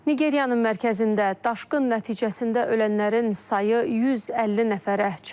Nigeriyanın mərkəzində daşqın nəticəsində ölənlərin sayı 150 nəfərə çatıb.